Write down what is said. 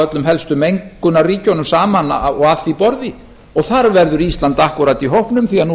öllum helstu mengunarríkjunum saman að því borði og þar verður ísland akkúrat í hópnum því nú